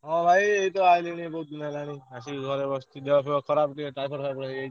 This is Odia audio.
ହଁ ଭାଇ ଏଇତ ଆଇଲିଣି ବହୁତ୍ ଦିନ୍ ହେଲାଇ ଆସିକି ଘରେ ବସିଚି ଦେହ ଫେଅ ଖରାପ୍ ଟିକେ typhoid ଫାଇ ଫୋଏଡ୍ ହେଇଯାଇଚି।